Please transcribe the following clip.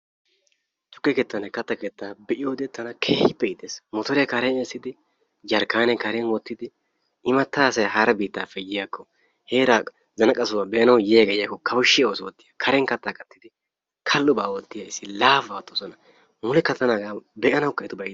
Tukke keettanne katta keetta be'iyoode tana keehippe iites motoriyaa karen essidi jarkkaaniyaa karen wottidi imatta asayi hara biittaappe yiyaako heera zanaqa sohuwa be'anawu yiyaagee yiyakko kawushshiyaa oosuwaa oottosona karen katta kattidi kallobaa oottiya issi laafaba oottosona. mulekka tana be'anawukka lo'ena etubay.